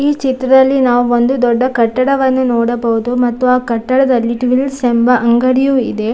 ಈ ಚಿತ್ರದಲ್ಲಿ ನಾವು ಒಂದು ದೊಡ್ಡ ಕಟ್ಟಡವನ್ನು ನೋಡಬಹುದು ಮತ್ತು ಆ ಕಟ್ಟಡದಲ್ಲಿ ಟ್ವಿಲ್ಸ್‌ ಎಂಬ ಅಂಗಡಿಯೂ ಇದೆ.